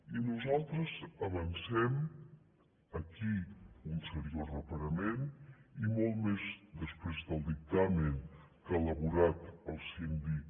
i nosaltres avancem aquí un seriós reparament i molt més després del dictamen que ha elaborat el síndic